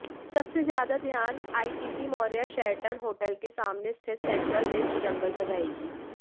सबसे ज्यादा ध्यान आईटीसी मौर्या शेरटन होटल के सामने स्थित सेंट्रल रिज जंगल पर रहेगी